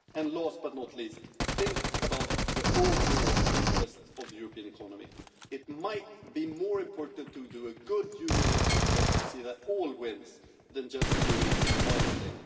Last but not least, think about the overall interests of the European economy it might be more important to do a good Union interests test to see that everyone wins than to do just one thing.